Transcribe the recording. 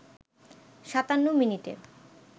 ৫৭ মিনিটে